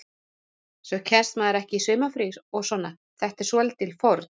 Svo kemst maður ekki í sumarfrí og svona, þetta er svolítil fórn.